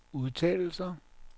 udtalelser